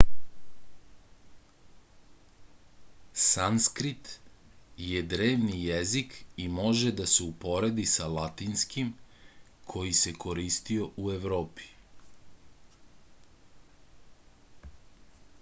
sanskrit je drevni jezik i može da se uporedi sa latinskim koji se koristio u evropi